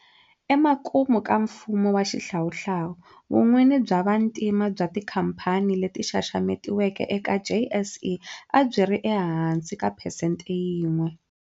Emakumu ka mfumo wa xihlawuhlawu, vun'wini bya vantima bya tikhamphani leti xaxametiweke eka JSE a byi ri ehansi ka phesente yin'we.